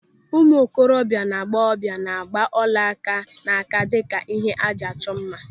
Ụmụ okorobịa na agbọghọbịa na-agba ọlaaka n'aka dịka ihe ịchọ mma.